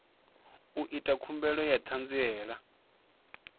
ita khumbelo ya ṱhanziela ya